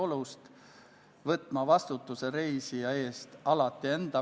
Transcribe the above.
Palun võtta seisukoht ja hääletada!